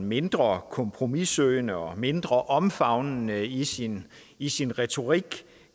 mindre kompromissøgende og mindre omfavnende i sin i sin retorik